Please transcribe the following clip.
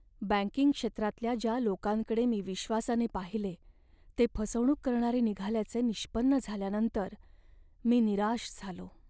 Banking क्षेत्रातल्या ज्या लोकांकडे मी विश्वासाने पाहिले ते फसवणूक करणारे निघाल्याचे निष्पन्न झाल्यानंतर मी निराश झालो.